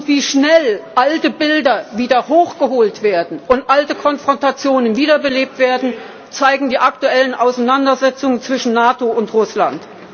Wie schnell alte Bilder wieder hochgeholt werden und alte Konfrontationen wiederbelebt werden, zeigen die aktuellen Auseinandersetzungen zwischen NATO und Russland.